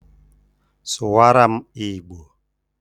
Sụwara m Igbo!